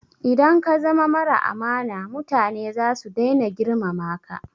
Idan ka zama mara amana mutane zasu dai na girmama ka